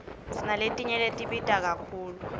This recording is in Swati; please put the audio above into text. sinaletinye tibita kakhulu